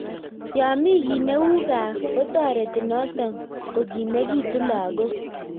Yaaa Mii kiit neu kaa kotoretii notok kokimegituu lagok